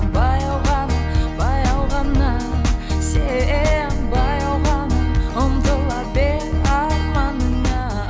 баяу ғана баяу ғана сен баяу ғана ұмтыла бер арманыңа